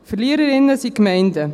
Verliererinnen sind die Gemeinden.